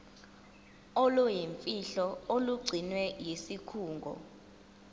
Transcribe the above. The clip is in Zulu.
oluyimfihlo olugcinwe yisikhungo